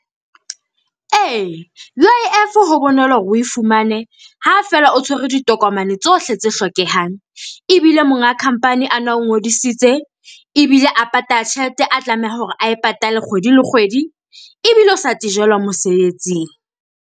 E, UIF ho bonolo hore o e fumane ha fela o tshwere ditokomane tsohle tse hlokehang, ebile monga company a na o ngodisitse. Ebile a patala tjhelete a tlamehang hore a e patale kgwedi le kgwedi, ebile o sa tejelwa mosebetsing.